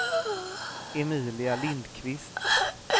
Emilia Lindquist